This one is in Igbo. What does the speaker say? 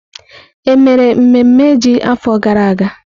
Emere mmemme ji n'afọ gara aga?